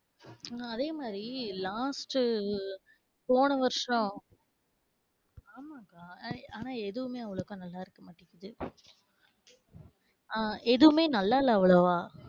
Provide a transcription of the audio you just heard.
அதேமாதிரி last உ போன வருஷம், ஆமா அக்கா ஆனா எதுவுமே அவலோக்கா நல்லா இருக்க மாட்டிக்கிது. அ எதுவுமே நல்லா இல்ல அவ்வளவா.